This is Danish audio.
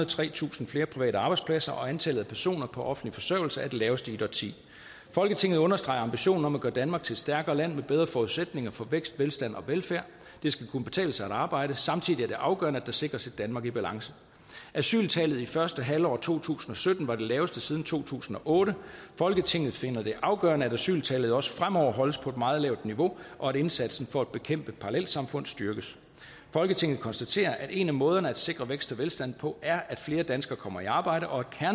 og tretusind flere private arbejdspladser og antallet af personer på offentlig forsørgelse er det laveste i et årti folketinget understreger ambitionen om at gøre danmark til et stærkere land med bedre forudsætninger for vækst velstand og velfærd det skal kunne betale sig at arbejde samtidig er det afgørende at der sikres et danmark i balance asyltallet i første halvår to tusind og sytten var det laveste siden to tusind og otte folketinget finder det afgørende at asyltallet også fremover skal holdes på et meget lavt niveau og at indsatsen for at bekæmpe parallelsamfund styrkes folketinget konstaterer at en af måderne til at sikre vækst og velstand på er at flere danskere kommer i arbejde og